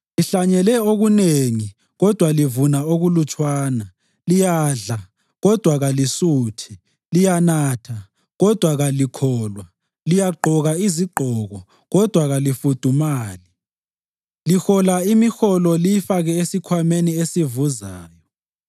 Lihlanyele okunengi kodwa livuna okulutshwana. Liyadla, kodwa kalisuthi. Liyanatha, kodwa kalikholwa. Liyagqoka izigqoko, kodwa kalifudumali. Lihola imiholo liyifake esikhwameni esivuzayo.”